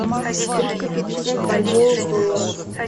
триста пятьдесят бальбоа в долларах